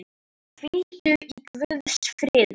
Hvíldu í Guðs friði.